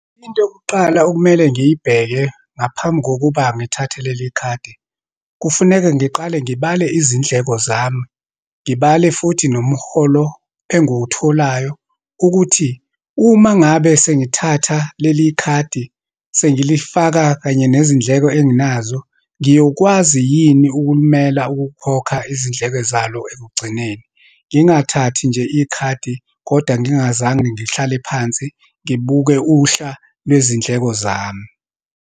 Into yokuqala okumele ngiyibheke ngaphambi kokuba ngithathe leli khadi. Kufuneka ngiqale ngibale izindleko zami, ngibale futhi nomholo engiwutholayo ukuthi, uma ngabe sengithatha leli khadi sengilifaka kanye nezindleko enginazo, ngiyokwazi yini ukulimela ukukhokha izindleko zalo ekugcineni. Ngingathathi nje ikhadi kodwa ngingazange ngihlale phansi ngibuke uhla lwezindleko zami.